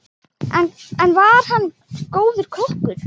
Einnig var hann góður kokkur.